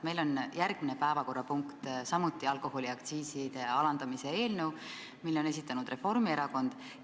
Meil on järgmine päevakorrapunkt samuti alkoholiaktsiiside alandamise eelnõu, selle on esitanud Reformierakond.